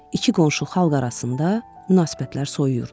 İki qonşu xalq arasında münasibətlər soyuyurdu.